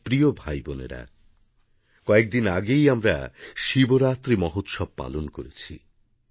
আমারপ্রিয় ভাইবোনেরা কয়েকদিন আগেই আমরা শিবরাত্রি মহোৎসব পালন করেছি